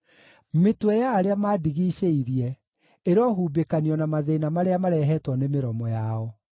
Mĩtwe ya arĩa mandigicĩirie ĩrohumbĩkanio na mathĩĩna marĩa marehetwo nĩ mĩromo yao.